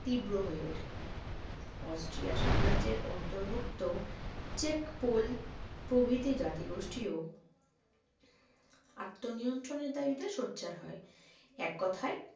তীব্র হয়ে ওঠে অস্ট্রিয়া সাম্রাজ্যের অন্তর্ভুক্ত চেক পোল প্রভৃতি জাতিগোষ্ঠীও আত্মনিয়ন্ত্রণের দাবিতে সোচ্চার হয় এককথায়